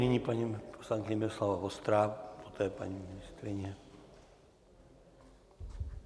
Nyní paní poslankyně Miloslava Vostrá, poté paní ministryně.